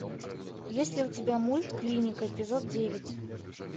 есть ли у тебя мульт клиника эпизод девять